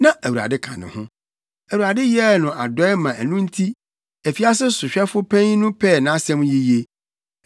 na Awurade ka ne ho. Awurade yɛɛ no adɔe ma ɛno nti, afiase sohwɛfo panyin no pɛɛ nʼasɛm yiye.